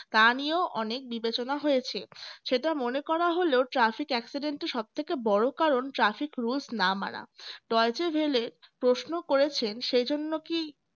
তা নিয়ে অনেক বিবেচনা হয়েছে সেটা মনে করা হলো traffic accident এর সবথেকে বড় কারণ traffic rules না মানা doyese velly প্রশ্ন করেছেন সেজন্য কি